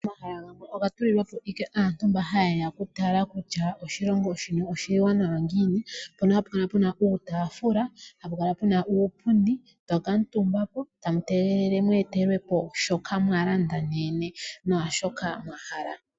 Omahala gamwe oga tulilwa po ashike aantu mba haye ya okutala kutya oshilongo shono oshiwanawa ngiini. Mpono hapu kala puna uutaafula , hapu kala puna uupundi. To kuutumba po etamu tegelele mu etelwe po shoka mwa landa neyene naashoka mwa hala.